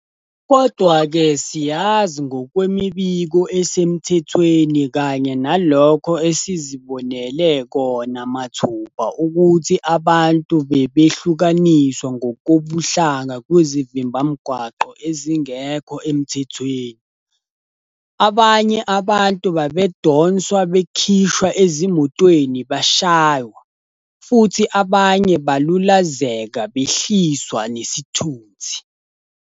Kodwa-ke siyazi ngokwemibiko esemthethweni kanye nalokho esizibonele kona mathupha ukuthi abantu bebehlukaniswa ngokobuhlanga kwizivimbamgwaqo ezingekho emthethweni, abanye abantu babedonswa bekhishwa ezimotweni beshaywa, futhi abanye balulazeka behliswa nesithunzi.